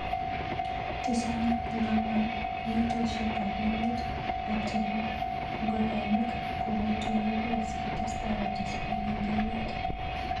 chechang eng kaborjinoshek ab emet ak chebo ngokemik kokotuyokei sikotestai kotes bik eng emet.